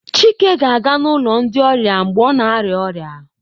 Chike ga-aga n'ụlọ ndi ọrịa mgbe ọ na-arịa ọrịa